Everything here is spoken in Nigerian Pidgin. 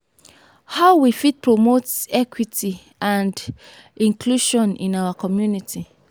how we fit promote equity and inclusion in our community?